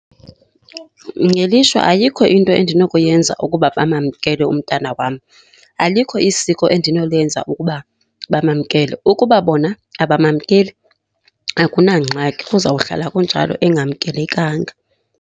Ngelishwa ayikho into endinokuyenza ukuba bamamkele umntana wam. Alikho isiko endinolwenza ukuba bamamkela. Ukuba bona abamamkeli akunangxaki, kuzawuhlala kunjalo engamkelekanga.